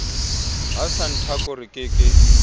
ho santaco re ke ke